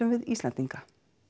við Íslendinga